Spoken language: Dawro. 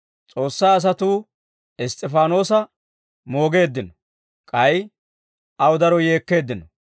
S'oossaa asatuu Iss's'ifaanoosa moogeeddino; k'ay aw daro yeekkeeddino.